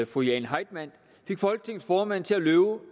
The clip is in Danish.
fru jane heitmann fik folketingets formand til at love